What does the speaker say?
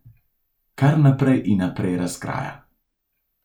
Kar naprej in naprej razkraja.